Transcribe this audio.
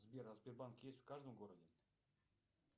сбер а сбербанк есть в каждом городе